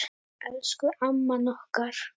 Elsku amman okkar.